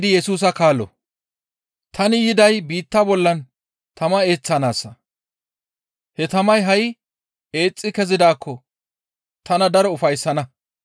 «Tani yiday biitta bollan tama eeththanaassa; he tamay ha7i eexxi kezidaakko tana daro ufayssana.